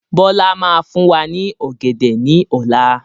Bọlá máa fún wa ní ọ̀gẹ̀dẹ̀ ni ọ̀la.